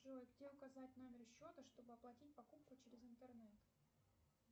джой где указать номер счета чтобы оплатить покупку через интернет